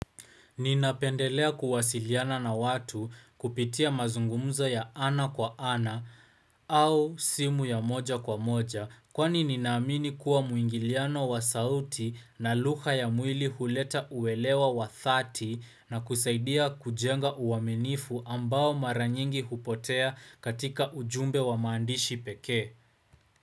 Ninapendelea kuwasiliana na watu kupitia mazungumzo ya ana kwa ana au simu ya moja kwa moja kwani nina amini kuwa muingiliano wa sauti na lugha ya mwili huleta uelewa wa thati na kusaidia kujenga uaminifu ambao maranyingi hupotea katika ujumbe wa maandishi pekee.